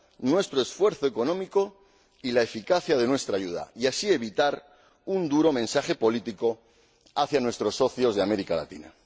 nuestro esfuerzo económico y la eficacia de nuestra ayuda y así evitar un duro mensaje político a nuestros socios de América Latina.